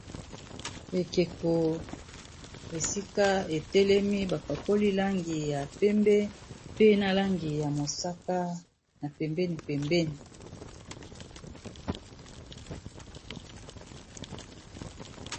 Ekeko esika etelemi bapakoli langi ya pembe pe na langi ya mosaka na pembeni pembeni.